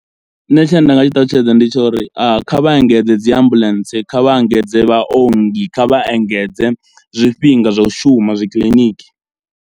Nṋe tshine nda nga tshi ṱalutshedza ndi tsho uri kha vha engedze dzi ambuḽentse, kha vha engedze vhaongi, kha vha engedze zwifhinga zwo u shuma zwi kiḽiniki.